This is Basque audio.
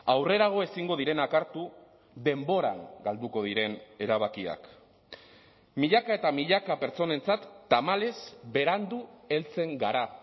aurrerago ezingo direnak hartu denboran galduko diren erabakiak milaka eta milaka pertsonentzat tamalez berandu heltzen gara